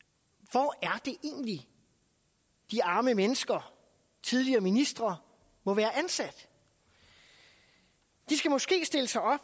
hvor er det egentlig de arme mennesker tidligere ministre må være ansat de skal måske stille sig op